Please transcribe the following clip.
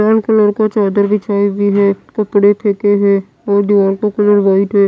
लाल colour का चादर बिछाई हुई है कपड़े फेंके हैं और दीवार का कलर वाइट है।